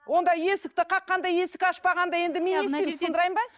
онда есікті қаққанда есік ашпағанда енді мен не істеймін сындырайын ба